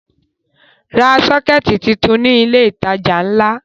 Ra sọ́kẹ́tì tuntun ní ilé-ìtajà ńlá!